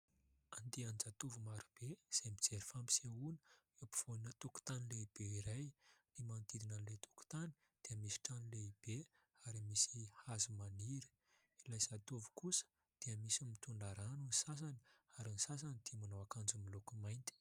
Andian-jatovo marobe izay mijery fampisehoana eo ampovoanina tokontany lehibe iray. Ny manodidina ilay tokontany dia misy trano lehibe ary misy hazo maniry. Ilay zatovo kosa dia misy mitondra rano ny sasany ary ny sasany dia manao akanjo miloko mainty.